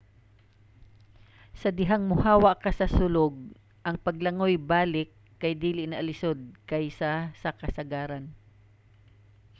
sa dihang mohawa ka sa sulog ang paglangoy balik kay dili na lisod kaysa sa kasagaran